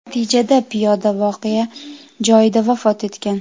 Natijada piyoda voqea joyida vafot etgan.